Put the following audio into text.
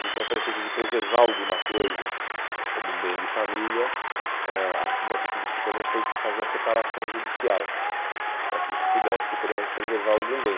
Então, para o efeito de preservar alguma coisa como um bem de família, eh ãh uma atitude que se tomou foi fazer a separação judicial, para que se pudesse, pelo menos, preservar algum bem.